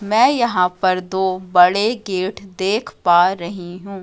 मैं यहां पर दो बड़े गेट देख पा रही हूं।